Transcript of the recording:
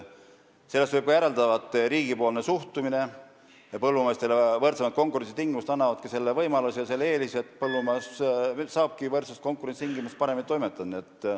Sellest võib ka järeldada, et riigi suhtumine põllumeestesse ja neile võrdsemate konkurentsitingimuste loomine annavadki selle võimaluse ja eelise, et nad saavad paremini toimetada.